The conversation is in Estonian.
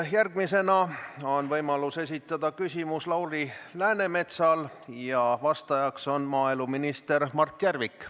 Järgmisena on võimalus esitada küsimus Lauri Läänemetsal ja vastajaks on maaeluminister Mart Järvik.